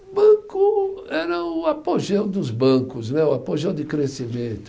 Banco era o apogeu dos bancos né, o apogeu de crescimento.